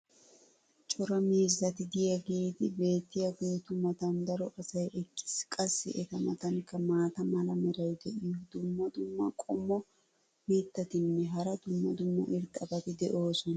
cora miizzati diyaageeti beetiyaageetu matan daro asay eqqiis. qassi eta matankka maata mala meray diyo dumma dumma qommo mitattinne hara dumma dumma irxxabati de'oosona.